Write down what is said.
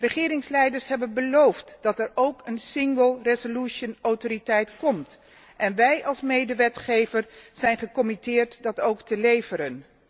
Regeringsleiders hebben beloofd dat er ook een single resolution autoriteit komt, en wij als medewetgever, zijn gecommitteerd dat ook te leveren.